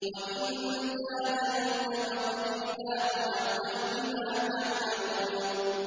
وَإِن جَادَلُوكَ فَقُلِ اللَّهُ أَعْلَمُ بِمَا تَعْمَلُونَ